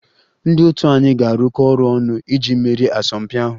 Ndị otu anyị ga-arụkọ ọrụ ọnụ iji merie asọmpi ahụ